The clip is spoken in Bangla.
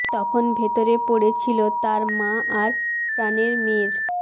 তখন ভেতরে পড়ে ছিল তাঁর মা আর প্রাণের মেয়ের